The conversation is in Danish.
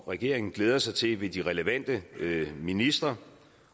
regeringen glæder sig til ved de relevante ministre